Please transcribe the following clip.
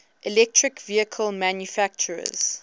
electric vehicle manufacturers